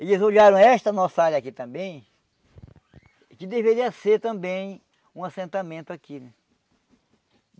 Eles olharam esta nossa área aqui também que deveria ser também um assentamento aqui.